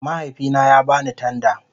Mahaifina ya ba ni tanda